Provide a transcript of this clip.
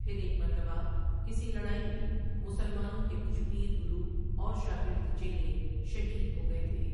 پھر ایک مرتبہ کسی لڑاٸی میں مسلمانوں کے کچھ پیر گرو اور شاگرد چیلے شہید ہو گٸے تھے ۔